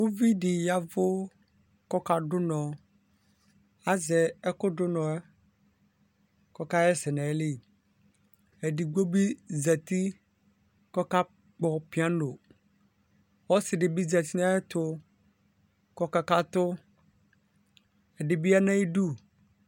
Ʋvidi ya ɛvʋ kʋ ɔka dʋ ʋnɔ azɛ ɛkʋdʋ kʋ ʋnɔ kʋ ɔkaxa ɛsɛ nʋ ayi edigno bi zati kʋ ɔkpɔ piano ɔsi dibi zati nʋ ayʋ ɛtʋ kʋ ɔka katʋ ɛdibi yanʋ ayʋ idʋ